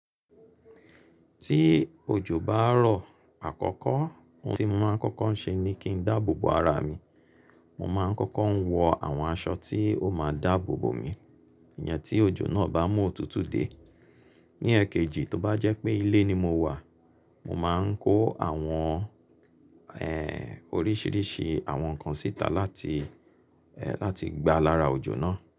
Tí òjò bá rọ̀ àkọ́kọ́, ohun tí mo máa ń kọ́kọ́ ń ṣe ni kí n dáàbò bo ara mi. Mo máa ń kọ́kọ́ ń wọ àwọn aṣọ tí ó máa dáàbò bo mi, ìyẹn tí òjò náà bá mú òtútù dé. Ní ẹ̀kejì, tó bá jẹ́ pé ilé ni mo wà, mo máa ń kó àwọn, ẹ́ẹ́, oríṣiríṣi àwọn nǹkan síta láti, ẹ́ẹ́, láti gba lára òjò náà.